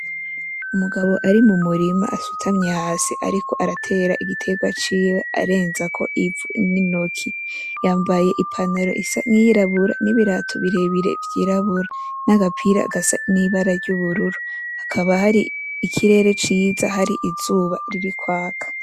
Umugabo ari mu murima asutamye hasi ariko arateba igiterwa ciwe arenzako ivu n’intoke, yambaye i pantaro isa n’iyirabura n’ibirato birebire vyirabura, n’agapira gasa n’ibara ry’ubururu hakaba hari ikirere ciza hari riri kwaka.